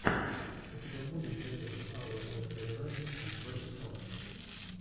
у тебя будет дэйв энд ава нерсери раймс энд бэби сонгс